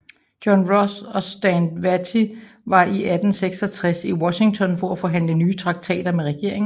John Ross og Stand Watie var i 1866 i Washington for at forhandle nye traktater med regeringen